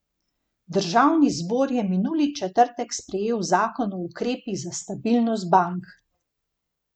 Državni zbor je minuli četrtek sprejel zakon o ukrepih za stabilnost bank.